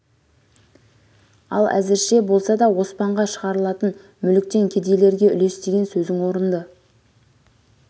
ал әзірше болса да оспанға шығарылатын мүліктен кедейлерге үлес деген сөзің орынды